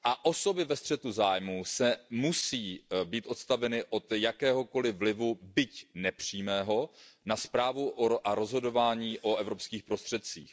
Osoby ve střetu zájmů musí být odstaveny od jakéhokoliv vlivu, byť nepřímého, na správu a rozhodování o evropských prostředcích.